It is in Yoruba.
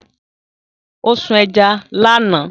Ó sún ẹja lánàá